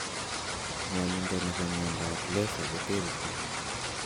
Ngwondindo ne po miondap laser koterchin.